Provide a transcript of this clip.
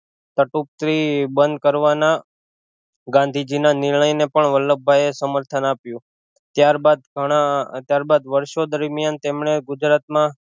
થી બંધ કરવાના ગાંધીજી ના નિર્ણય ને પણ વલ્લભભાઈ એ સમર્થન આપ્યું ત્યારબાદ ઘણા વર્ષો દરમિયાન તેમણે ગુજરાત માં